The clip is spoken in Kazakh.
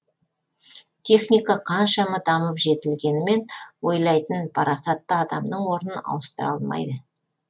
техника қаншама дамып жетілгенімен ойлайтын парасатты адамның орнын ауыстыра алмайды